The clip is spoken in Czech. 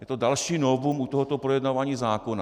Je to další novum u tohoto projednávání zákona.